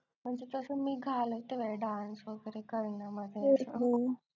म्हणजे तसं मी घालत नाय dance वैगेरे करण्यामध्ये